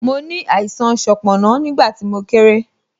Mo ní àìsàn sanponna, nígbà tí mo kéré